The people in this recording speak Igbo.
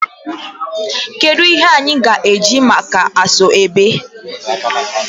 Kedu ihe anyi ga eji maka asoebi?